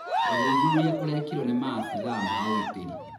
Ũthuthuria ũrekiro nĩ maabithaa ma ũgitĩri.